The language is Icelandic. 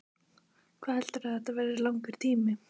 Hvað heldurðu að þetta verði langur tími?